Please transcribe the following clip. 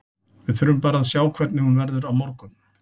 Við þurfum bara að sjá hvernig hún verður á morgun.